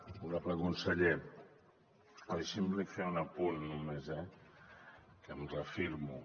honorable conseller deixi’m li fer un apunt només eh que em reafirmo